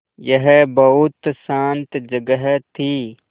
यह बहुत शान्त जगह थी